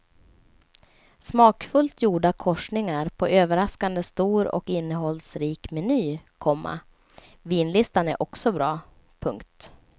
Smakfullt gjorda korsningar på överraskande stor och innehållsrik meny, komma vinlistan är också bra. punkt